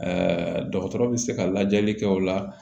dɔgɔtɔrɔ bɛ se ka lajɛli kɛ o la